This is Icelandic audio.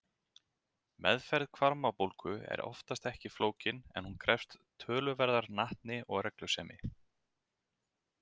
Meðferð hvarmabólgu er oftast ekki flókin en hún krefst töluverðrar natni og reglusemi.